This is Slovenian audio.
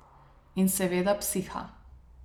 In seveda psiha.